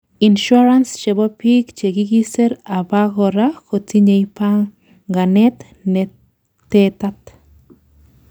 insurance chebo biik chekikesir abakora kotinyei panganet netetat